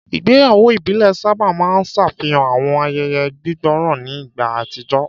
Ìgbéyàwó ìbílẹ̀ sábà máa ń ṣàfihàn àwọn ayẹyẹ gbígbòòrò ní ìgbà àtijọ́.